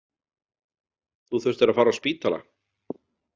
Þú þurftir að fara á spítala.